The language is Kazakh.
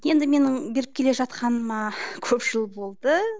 енді менің беріп келе жатқаныма көп жыл болды